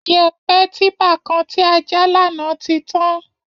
Yẹ̀ẹ̀pẹ̀ típa kan tí a já lánàá ti tán